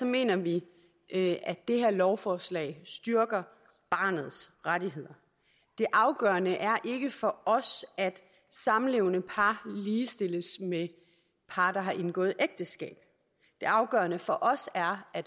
mener vi at det her lovforslag styrker barnets rettigheder det afgørende er ikke for os at samlevende par ligestilles med par der har indgået ægteskab det afgørende for os er at